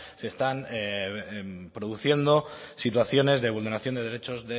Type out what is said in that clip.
se están produciendo situaciones de vulneración de derechos